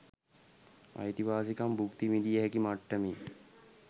අයිතිවාසිකම් භුක්ති විඳිය හැකි මට්ටමේ